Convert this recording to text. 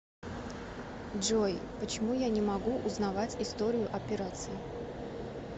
джой почему я не могу узнавать историю операций